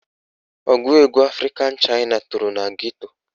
Ọgụ egwu Afrịka Chaịna toro na geto